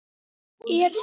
Er það?